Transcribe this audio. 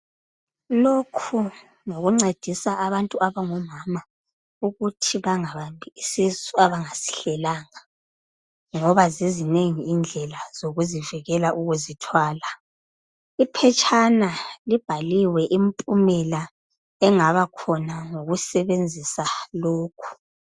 Lokhu ngokuncedisa abantu abangomama ukuthi bangabambi isisu abangasihlelanga ngoba zizinengi indlela zokuzivela ukuzithwala .Iphetshana libhaliwe impumela engaba khona ngokusebenzisa lokhu .